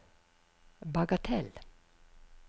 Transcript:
bagatell